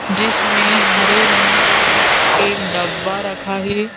जिसमें हरे रंग का एक डब्बा रखा है।